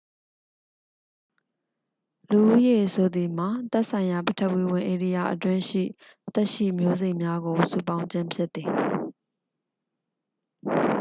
လူဦးရေဆိုသည်မှာမှာ သက်ဆိုင်ရာ ပထဝီဝင် ဧရိယာအတွင်းရှိ သက်ရှိ မျိုးစိတ်များကို စုပေါင်းခြင်း ဖြစ်သည်